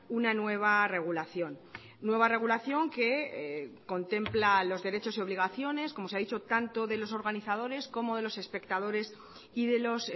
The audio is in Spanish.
una nueva regulación nueva regulación que contempla los derechos y obligaciones como se ha dicho tanto de los organizadores como de los espectadores y de los